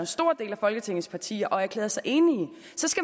stor del af folketingets partier og erklærede sig enige